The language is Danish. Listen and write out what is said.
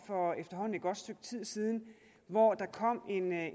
for efterhånden et godt stykke tid siden hvor der kom